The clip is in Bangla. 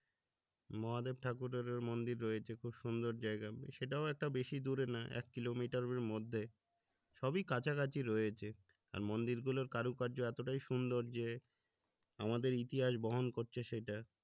মহাদেব ঠাকুরেরও মন্দির রয়েছে খুব সুন্দর জায়গা সেটাও একটা বেশি দূরে না এক কিলোমিটারে মধ্যে সবি কাছাকাছি রয়েছে আর মন্দিরগুলোর কারুকার্য এতোটাই সুন্দর যে আমাদের ইতিহাস বহন করছে সেটা